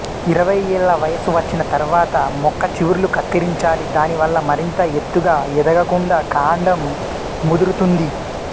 ఇరవై ఏళ్ళ వయసు వచ్చిన తర్వాత మొక్క చివుర్లు కత్తిరించాలి దానివల్ల మరింత ఎత్తుగా ఎదగకుండా కాండం ముదురుతుంది